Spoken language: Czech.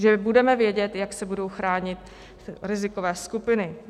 Že budeme vědět, jak se budou chránit rizikové skupiny.